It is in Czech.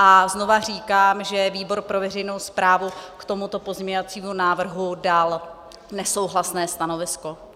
A znova říkám, že výbor pro veřejnou správu k tomuto pozměňovacímu návrhu dal nesouhlasné stanovisko.